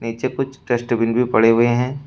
पीछे कुछ डस्टबिन भी पड़े हुए हैं।